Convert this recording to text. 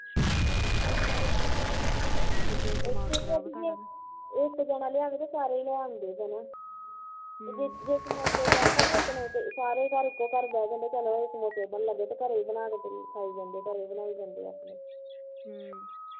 ਇੱਕ ਜਣਾ ਲਿਆਵੇ ਤੇ ਸਾਰੇ ਈ ਲੈ ਆਉਂਦੇ ਨੇ ਹਮ ਤੇ ਜੇ ਮੁੜ ਕੇ ਖਿਤਾ ਨਾ ਕਿਸੇ ਨਾ ਸਾਰੇ ਜਣੇ ਇੱਕੋ ਗੱਲ ਕਹਿਣ ਲੱਗ ਜੰਦੇ ਘਰੇ ਇ ਬਣਾ ਦਿੰਦੇ ਘਰੇ ਈ ਬਣਾ ਦਿੰਦੇ ਆਓਨੇ ਹਮ